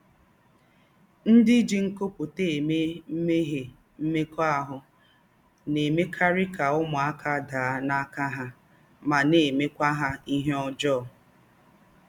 “Ndí́ jí kọ́mpútà èmè mmẹ́mhíè mmékọ́ahụ́” nà-èmèkarì kà ứmụ́áká dàạ̀ n’áká há mà nà-èmékwá há íhè ǒjọọ́.